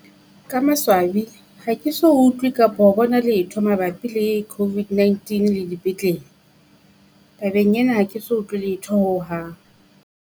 Ka maswabi ha ke so utlwe kapa ho bona letho mabapi le COVID-19 le di petlele, tabeng ena ha ke so utlwe letho hohang.